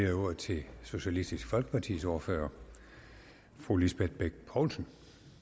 jeg ordet til socialistisk folkepartis ordfører fru lisbeth bech poulsen